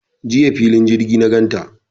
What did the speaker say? Jiya fili jirgi na gan ta.